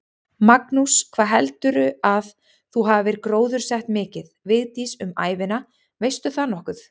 Magnús: Hvað heldurðu að þú hafir gróðursett mikið, Vigdís, um ævina, veistu það nokkuð?